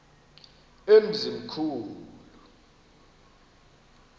emzimkhulu